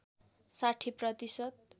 ६० प्रतिशत